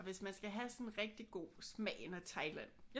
Og hvis man skal have sådan rigtig god smagen af Thailand